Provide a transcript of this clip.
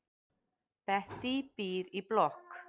Bettý býr í blokk.